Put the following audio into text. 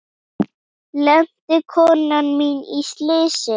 Lenti konan mín í slysi?